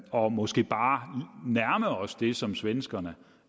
og måske bare nærme os det som svenskerne